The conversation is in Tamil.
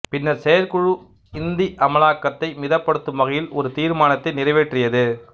பின்னர் செயற்குழு இந்தி அமலாக்கத்தை மிதப்படுத்தும் வகையில் ஒரு தீர்மானத்தை நிறைவேற்றியது